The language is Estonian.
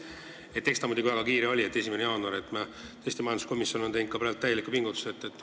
Sellega on muidugi väga kiire, tähtaeg on 1. jaanuar, ja majanduskomisjon on siin täielikke pingutusi teinud.